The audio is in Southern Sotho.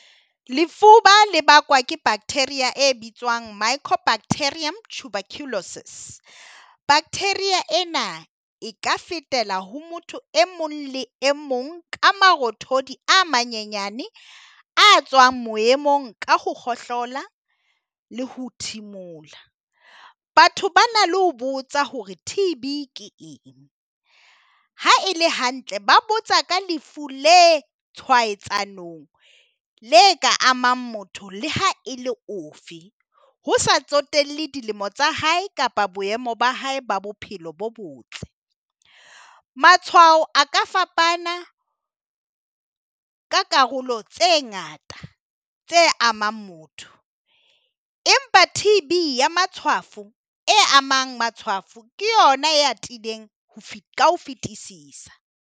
Lefuba le bakwa ke bacteria e bitswang micro bacteria tuberculosis. Bacteria ena e ka fetela ho motho e mong le e mong ka marothodi a manyenyane a tswang moyeng mona ka ho kgohlola le ho thimula. Batho ba na le ho botsa hore T_B ke eng. Ha e le hantle, ba botsa ka lefu le tshwaetsanong le ka amang motho le ha e le ofe, ho sa tsotelle dilemo tsa hae kapa boemo ba hae ba bophelo bo botle. Matshwao a ka fapana ka karolo tse ngata tse amang motho. Empa T_B ya matshwafo, e amang matshwafo ke yona e atileng ka ho fetisisa.